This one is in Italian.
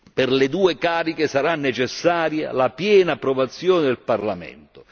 per le quali sarà necessaria la piena approvazione del Parlamento.